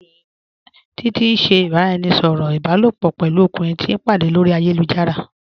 Títití n ṣẹ̀ ìbàráẹnisọ̀rọ̀ ìbàlòpọ̀ pẹ̀lú ọ̀kùnrin tìí o pàdé lórí ayélujára.